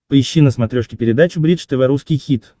поищи на смотрешке передачу бридж тв русский хит